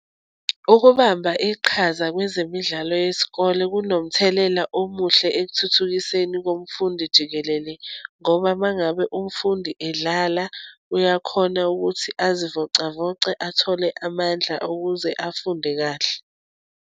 Ukubamba iqhaza kwezemidlalo yesikole kunomthelela omuhle ekuthuthukiseni komfundi jikelele, ngoba uma ngabe umfundi edlala uyakhona ukuthi azivocavoce athole amandla okuze afunde kahle.